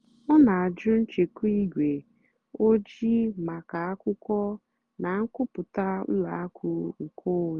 ọ́ nà-àjụ́ nchèkwà ígwè ójìì màkà ákwụ́kwọ́ nà nkwúpụ́tá ùlọ àkụ́ nkèónwé.